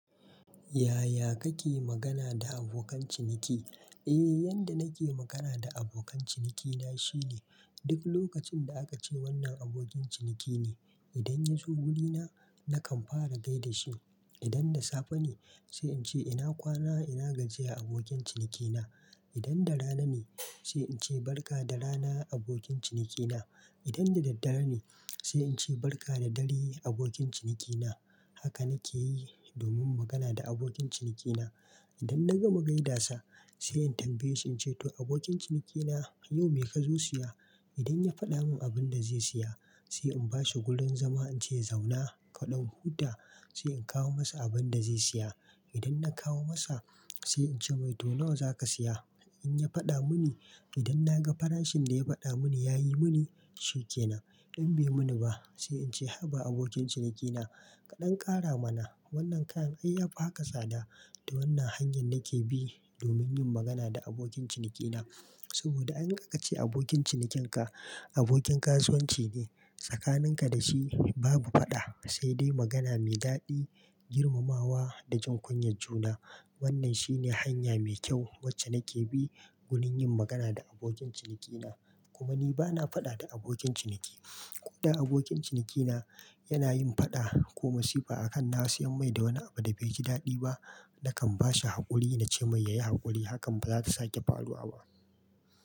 Yaya kake magana da abokan ciniki? Eh, yadda nake magana da abokan cinikina shine duk lokacin da aka ce wannan abokin ciniki ne. Idan ya zo wurina, nakan fara gaida shi. Idan da safe ne, sai in ce ina kwana ina gajiyar abokin cinikina. Idan da rana ne, sai in ce barka da rana abokin cinikina. Idan da daddare ne, sai in ce barka da dare abokin cinikina. Haka nake yi domin magana da abokin cinikina. Idan na gama gaidasa, sai in tambaye shi in ce to abokin cinikina, yau me ka zo siya? Idan ya faɗa min abin da zai siya, sai in bashi gurun zama in ce zauna kaɗan huta, sai in kawo masa abin da zai siya. Idan na kawo masa, sai in ce mai to nawa zaka siya? In ya faɗa mini, idan na ga farashin da ya faɗa mini ya yi mini, shi ke nan. In bai yi mini ba, sai in ce haba abokin cinikina, kaɗan ƙara mana wannan kayan. Ai ya fi haka tsada. Da wannan hanyar nake bi domin yin magana da abokin cinikina. Saboda in aka ce abokin cinikenka abokin kasuwanci ne, tsakaninka da shi babu faɗa, sai dai magana mai daɗi, girmamawa da jin kunyar juna. Wannan shine hanya mai kyau wacce nake bi wurin yin magana da abokin cinikina. Kuma ni bana faɗa da abokin ciniki. Ko da abokin cinikina yana yin faɗa ko masifa a kan na siyan mai da wani abu da bai ji daɗi ba, nakan bashi haƙuri na ce mai yayi haƙuri hakan ba za su sake faruwa ba.